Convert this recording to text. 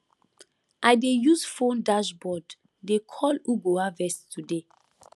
i dey use phone dashboard dey call who go harvest today